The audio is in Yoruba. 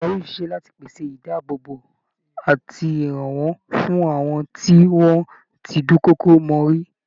Ìjọba yóò ṣiṣẹ́ láti pèsè àyè ìdáàbòbò àti ìrànwọ́ fún àwọn tí wọ́n ti dúnkokò mọ́ rí